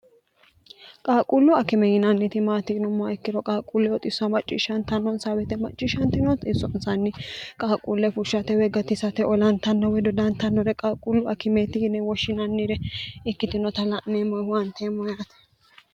qaaquullu akime yinanniti maatinommoa ikkiro qaaquulle oxisso macciishshantannonsawete macciishshante noot issonsanni qaaquulle fushshate weggatisate olantanno wedo daantannore qaaquullu akimeeti yine woshshinannire ikkitinota la'neemmoehu anteemmoyeate